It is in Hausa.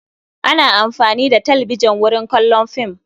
Ana amfani da talbijan wurin kallon fim.